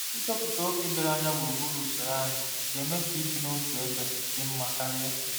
Ịtọpụta oke doro anya gburugburu usoro anyị ga-eme ka ibi n'otu ebe dị mma karị.